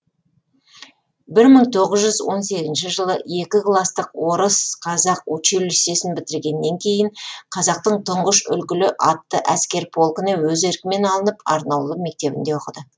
бір мың тоғыз жүз он сегізінші жылы екі кластық орыс қазақ училищесін бітіргеннен кейін қазақтың тұңғыш үлгілі атты әскер полкіне өз еркімен алынып арнаулы мектебінде оқыды